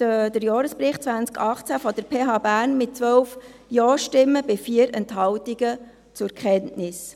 den Jahresbericht 2018 der PH Bern mit 12 Ja-Stimmen bei 4 Enthaltungen zur Kenntnis.